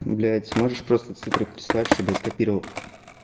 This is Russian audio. блять можешь просто цифры прислать чтобы я скопировал